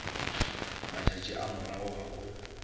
matšatši a morago ga go